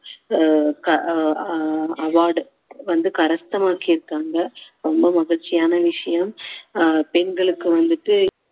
ஆஹ் அஹ் award வந்து இருக்காங்க ரொம்ப மகிழ்ச்சியான விஷயம் ஆஹ் பெண்களுக்கு வந்துட்டு